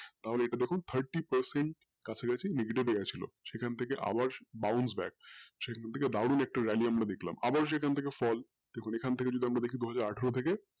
তাহলে ইটা দেখুন কাছা কাছি thirty percent এ গেছিলো সে খান থাকে আবার neglated area সে খান থেকে দারুন একটা bounce back আমরা দেখলাম আবার সে খান থেকে rally দেখুন এখান থেকে fall আমরা দেখি দুহাজার আঠারো থেকে